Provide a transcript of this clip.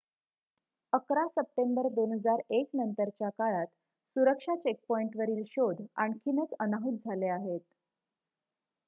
११ September २००१ नंतरच्या काळात सुरक्षा चेकपॉइंटवरील शोध आणखीनच अनाहूत झाले आहेत